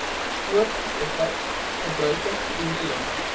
poort bevat gebruikersvriendelike